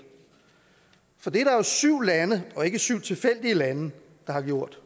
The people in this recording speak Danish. for det er der jo syv lande og ikke syv tilfældige lande der har gjort